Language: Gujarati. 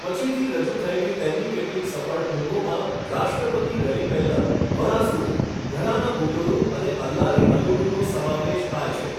પછીથી રજૂ થયેલી તેમની કેટલીક સફળ ફિલ્મોમાં 'રાષ્ટ્રપતિ ગરી પેલ્લમ', 'વરાસુડુ', 'ઘરાના બુલ્લોડુ' અને 'અલ્લારી અલ્લુડુ'નો સમાવેશ થાય છે.